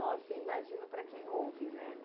Nossa, imagino para quem ouve, né?